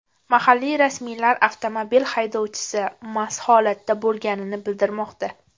Mahalliy rasmiylar avtomobil haydovchisi mast holatda bo‘lganini bildirmoqda.